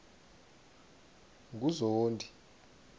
nguzondi